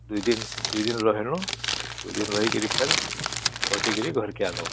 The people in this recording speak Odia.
ଦୁଇ ଦିନ ଦୁଇ ଦିନ ରହିଲୁ ଦୁଇ ଦିନ ରହିକି ଫେର ବସିକି ଘରକୁ ଅଇଲୁ